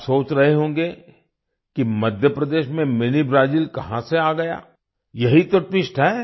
आप सोच रहे होंगे कि मध्य प्रदेश में मिनी ब्राजिल कहां से आ गया यही तो ट्विस्ट है